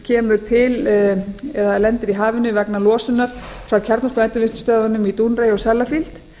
kemur til eða lendir í hafinu vegna losunar frá kjarnorkuendurvinnslustöðvunum í dounreay og sellafield